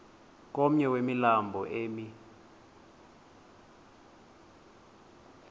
komnye wemilambo emi